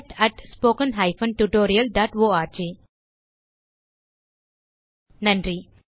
contact at spoken hyphen tutorial dot org நன்றி